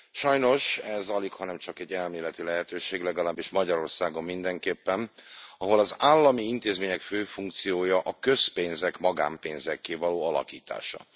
Sajnos ez alighanem csak egy elméleti lehetőség, legalábbis Magyarországon mindenképpen, ahol az állami intézmények fő funkciója a közpénzek magánpénzekké való alakítása.